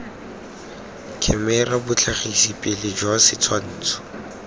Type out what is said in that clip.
khemera botlhagisi pele jwa setshwantsho